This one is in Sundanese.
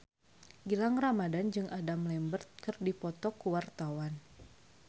Gilang Ramadan jeung Adam Lambert keur dipoto ku wartawan